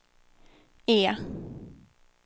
E